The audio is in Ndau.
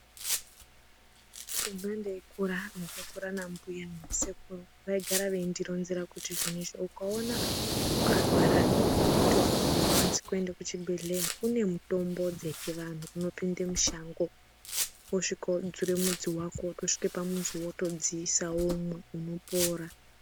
Kumba ndeikura ndakakura nambuya nasekuru vaigara veindironzera kuti izvonizvo kuti ukaona ukarwara zvekuti haukwanisi kuende kuchibhehleya, kune mutombo dzechivantu unopinde mushango wosvika wodzure mudzi wako wotosvika pamuzi wotodziisa womwa, unopora.